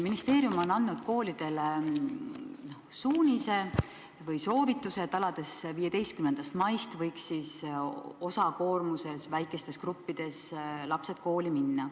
Ministeerium on andnud koolidele suunised või soovitused, et alates 15. maist võiks lapsed osakoormusega väikestes gruppides kooli minna.